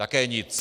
Také nic.